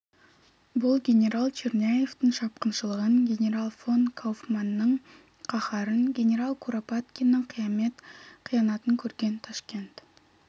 бұл генерал черняевтің шапқыншылығын генерал фон кауфманның қаһарын генерал куропаткиннің қиямет қиянатын көрген ташкент